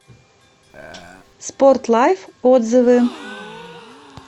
спорт лайф отзывы